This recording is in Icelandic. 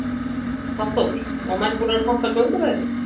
Hafþór: Og menn búnir að panta gönguveðrið?